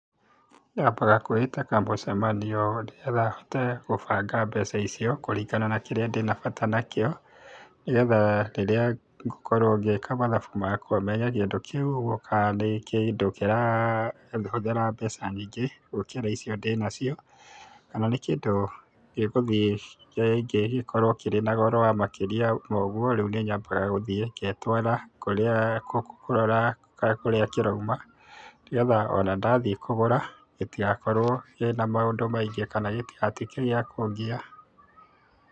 Nyambaga kwĩĩta kamũcemanio nĩgetha hote gubanga mbeca icio kuringana na kĩrĩa ndina bata nakio, nĩgetha rĩrĩa ngũkorwo ngĩka mathabu makwa menye kĩndu kĩu ũguũo kana nĩ kĩndũ kĩrahuthĩra mbeca nyingĩ, gukĩra ico ndĩnacio kana nĩ kĩndu gĩguthiĩ rĩngĩ gĩkorwo kĩrĩ na goro wa makĩria ma ũguo, rĩu niĩ nyambaga ngetwara kũrĩa kũrora ka kũrĩa kĩroima ona ndathĩĩ kũgũra gĩtigakorwo kĩna maũndũ maingĩ kana gĩtigakorwo gĩa kũngia.